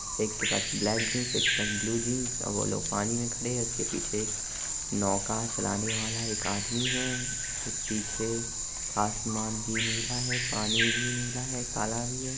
एक के पास ब्लैक जिन्स एक के पास ब्लू जीन्स और वह लोग पानी मैं खड़े हैं| और पीछे एक नौका चलाने वाला एक आदमी हैं | पीछे आसमान भी नीला हैं | पानी भी नीला हैं और काला हैं।